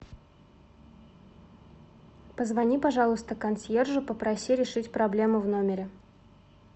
позвони пожалуйста консьержу попроси решить проблему в номере